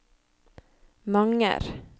Manger